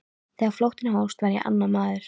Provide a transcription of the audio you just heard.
Þegar flóttinn hófst var ég annar maður.